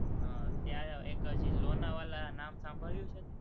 હમ ત્યાં એક હજી લોનાવાલા નામ સાંભળ્યું છે તે?